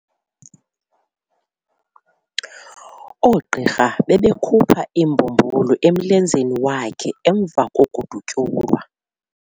Oogqirha bebekhupha imbumbulu emlenzeni wakhe emva kokudutyulwa.